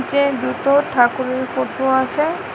যে দুটো ঠাকুরের ফোটো আছে।